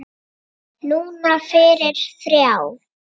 Núna fyrir þrjá.